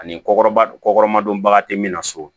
Ani kɔkɔba kɔkɔma dɔnbaga tɛ min na so